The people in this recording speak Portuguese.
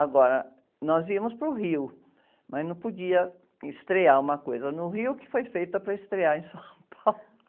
Agora, nós íamos para o Rio, mas não podia estrear uma coisa no Rio, que foi feita para estrear em São Paulo.